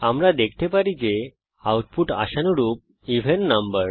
আমরা দেখতে পারি যে আউটপুট আশানুরূপ এভেন নাম্বার